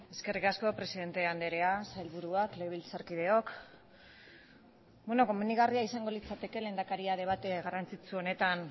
eskerrik asko presidente andrea sailburuak legebiltzarkideok beno komenigarria izango litzateke lehendakaria debate garrantzitsu honetan